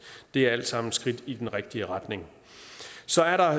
det er alt sammen skridt i den rigtige retning så er der